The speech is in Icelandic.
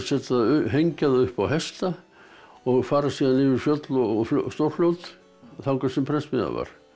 hengja það upp á hesta og fara síðan yfir fjöll og stórfljót þangað sem prentsmiðjan var